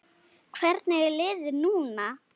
Hvernig er liðið núna?